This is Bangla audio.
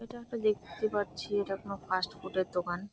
এটা একটা দেখতে পাচ্ছি এটা কোনো ফাস্ট ফুড -এর দোকান ।